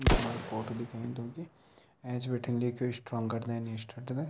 इखमणा फोटु दिखेंद होगी ऐंच बठैन लिख्युं स्ट्रांगर देन यष्टरटडे ।